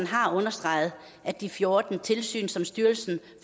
har understreget at de fjorten tilsyn som styrelsen